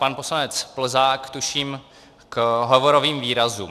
Pan poslanec Plzák, tuším, k hovorovým výrazům.